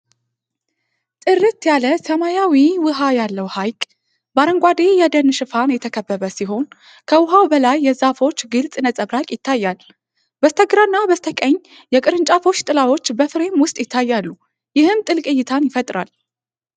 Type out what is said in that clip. ጥርት ያለ ሰማያዊ ውሃ ያለው ሐይቅ በአረንጓዴ የደን ሽፋን የተከበበ ሲሆን፤ ከውሃው በላይ የዛፎች ግልጽ ነጸብራቅ ይታያል። በስተግራና በስተቀኝ፣ የቅርንጫፎች ጥላዎች በፍሬም ውስጥ ይታያሉ፤ ይህም ጥልቅ እይታን ይፈጥራል።